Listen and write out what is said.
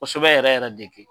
Kosɛbɛ yɛrɛ yɛrɛ de kɛ.